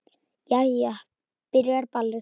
Jæja. byrjar ballið!